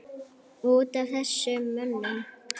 Út af þessum mönnum?